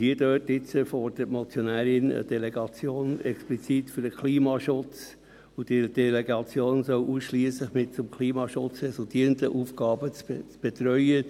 Jetzt fordert die Motionärin eine Delegation explizit für den Klimaschutz, und diese Delegation solle ausschliesslich im Klimaschutz resultierende Aufgaben betreuen.